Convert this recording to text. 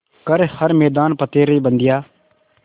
कर हर मैदान फ़तेह रे बंदेया